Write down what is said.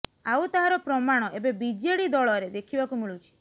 ଆଉ ତାହାର ପ୍ରମାଣ ଏବେ ବିଜେଡି ଦଳରେ ଦେଖିବାକୁ ମିଳୁଛି